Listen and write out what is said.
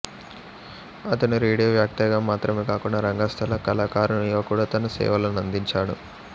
అతను రేడియో వాఖ్యాతగా మాత్రమే కాకుండా రంగస్థల కళాకారునిగా కూడా తన సేవలనందించాడు